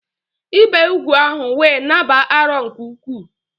Ibe úgwù ahu we nāb͕a arọ nke-uku